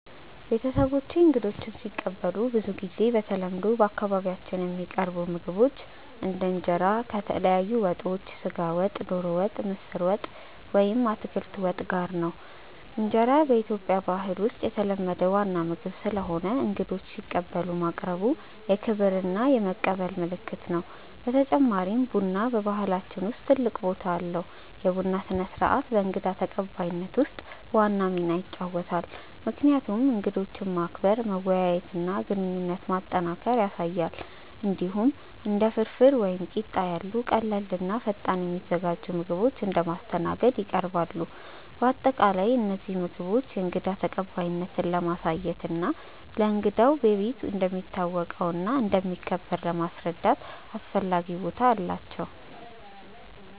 ቤተሰቦቼ እንግዶችን ሲቀበሉ ብዙ ጊዜ በተለምዶ በአካባቢያችን የሚቀርቡ ምግቦች እንደ እንጀራ ከተለያዩ ወጦች (ስጋ ወጥ፣ ዶሮ ወጥ፣ ምስር ወጥ ወይም አትክልት ወጥ) ጋር ነው። እንጀራ በኢትዮጵያ ባህል ውስጥ የተለመደ ዋና ምግብ ስለሆነ እንግዶችን ሲቀበሉ ማቅረቡ የክብር እና የመቀበል ምልክት ነው። በተጨማሪም ቡና በባህላችን ውስጥ ትልቅ ቦታ አለው፤ የቡና ስነ-ስርዓት በእንግዳ ተቀባይነት ውስጥ ዋና ሚና ይጫወታል፣ ምክንያቱም እንግዶችን ማክበር፣ መወያየት እና ግንኙነት ማጠናከር ያሳያል። እንዲሁም እንደ ፍርፍር ወይም ቂጣ ያሉ ቀላል እና ፈጣን የሚዘጋጁ ምግቦች እንደ ማስተናገድ ይቀርባሉ። በአጠቃላይ እነዚህ ምግቦች የእንግዳ ተቀባይነትን ለማሳየት እና እንግዳው በቤት እንደሚታወቀው እና እንደሚከበር ለማስረዳት አስፈላጊ ቦታ አላቸው።